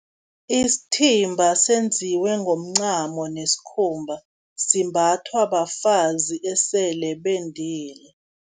Isithimba senziwe ngomncamo nesikhumba, simbathwa bafazi esele bendile.